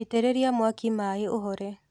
Itĩrĩria mwaki maĩ ũhore.